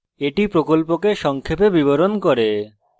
এটি প্রকল্পকে সংক্ষেপে বিবরণ করে